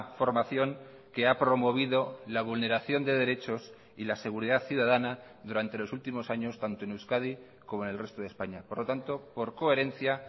formación que ha promovido la vulneración de derechos y la seguridad ciudadana durante los últimos años tanto en euskadi como en el resto de españa por lo tanto por coherencia